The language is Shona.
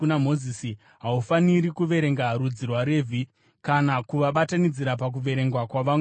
“Haufaniri kuverenga rudzi rwaRevhi kana kuvabatanidzira pakuverengwa kwavamwe vaIsraeri.